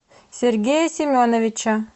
сергея семеновича